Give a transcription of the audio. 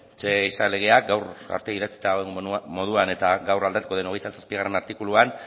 ze ehiza legeak gaur arte idatzita dagoen moduan eta gaur aldatuko den hogeita zazpigarrena artikuluan